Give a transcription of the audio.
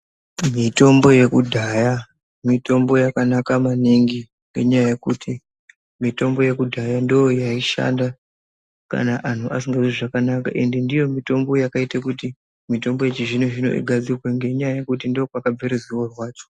Mitombo yekudhaya mitombo yakanaka maningi ngenyaya yekuti mitombo yekudhaya ndiyo yaishanda antu asingazwi zvakanaka and ndiyo mitombo yakaita kuti mitombo yechizvinozvino zvino igadzirwe ngenyaya yekuti ndo kwakabva ruzivo rwacho.